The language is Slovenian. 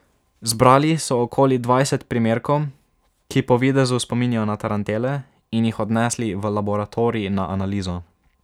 Zbrali so okoli dvajset primerkov, ki po videzu spominjajo na tarantele, in jih odnesli v laboratorij na analizo.